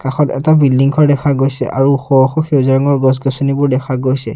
কাষত এটা বিল্ডিং ঘৰ দেখা গৈছে আৰু ওখ ওখ সেউজীয়া ৰঙৰ গছ-গছনিবোৰ দেখা গৈছে।